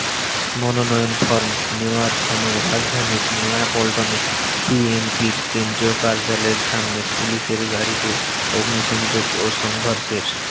মনোনয়ন ফরম নেওয়ার সময় রাজধানীর নয়াপল্টনে বিএনপির কেন্দ্রীয় কার্যালয়ের সামনে পুলিশের গাড়িতে অগ্নিসংযোগ ও সংঘর্ষের